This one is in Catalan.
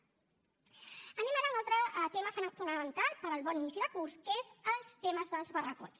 anem ara a un altre tema fonamental per al bon inici de curs que és el tema dels barracots